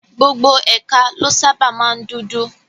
Gbogbo ẹ̀ka ló sábàa máa ń dúdú